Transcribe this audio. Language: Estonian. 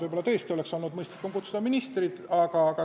Võib-olla tõesti oleks olnud mõistlikum ministrid kutsuda.